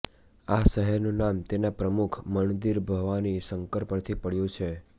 આ શહેરનું નામ તેના પ્રમુખ મણ્દિર ભવાની શંકર પરથી પડ્યું છે